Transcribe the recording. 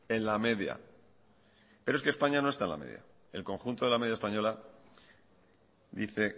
en la media pero es que españa no está en la media el conjunto de la media española dice